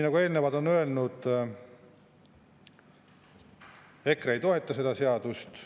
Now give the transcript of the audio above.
Nagu eelnevalt on öeldud, EKRE ei toeta seda seadust.